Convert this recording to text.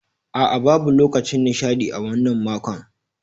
A'a, babu lokacin nishaɗi a wannan makon.